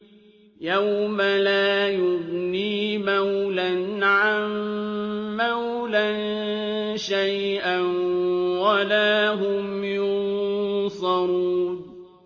يَوْمَ لَا يُغْنِي مَوْلًى عَن مَّوْلًى شَيْئًا وَلَا هُمْ يُنصَرُونَ